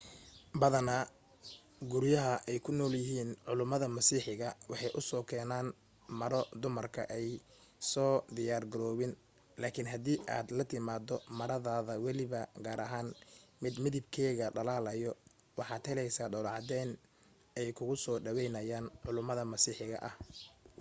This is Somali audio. badana guryaha ay ku nool yahiin culumida masiixiga waxay u keenan maro dumarka an soo diyaar garoobin laakin hadii aad la timaado maradaada weliba gaar ahaan mid mdiabkeega dhalaalayo waxaad heleysa dhoolo cadeen ay kugu soo dhaweynayaan culumida masiixiga ah